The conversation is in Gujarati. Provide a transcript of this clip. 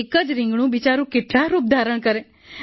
એક જ રિંગણું બિચારું કેટલા રૂપ ધારણ કરે